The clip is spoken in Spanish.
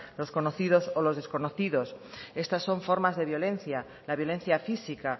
los conocidos o los desconocidos estas son formas de violencia la violencia física